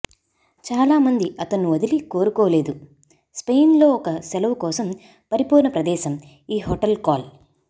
చాలా మంది అతను వదిలి కోరుకోలేదు స్పెయిన్ లో ఒక సెలవు కోసం పరిపూర్ణ ప్రదేశం ఈ హోటల్ కాల్